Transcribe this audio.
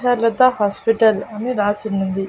లత hospital అని రాసున్నింది.